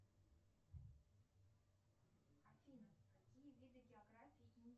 афина какие виды географии